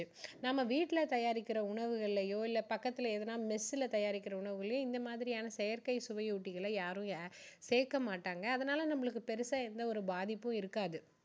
நம்ம வீட்டுல தயாரிக்கிற உணவுகளையோ இல்ல பக்கத்துல எதுனா mess ல தயாரிக்கிற உணவுகளையோ இந்த மாதிரியான செயற்கை சுவையூட்டிகளை யாரும் சேர்க்க மாட்டாங்க அதனால நம்மளுக்கு பெருசா எந்த ஒரு பாதிப்பும் இருக்காது